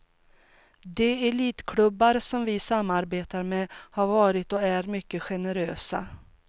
De elitklubbar som vi samarbetar med har varit och är mycket generösa.